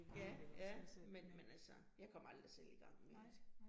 Ja, ja, men men altså jeg kom aldrig selv i gang med det